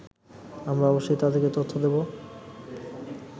আমরা অবশ্যই তাদেরকে তথ্য দেবো